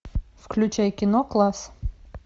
включай кино класс